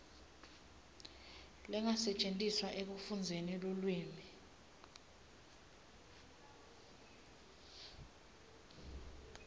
lengasetjentiswa ekufundziseni lulwimi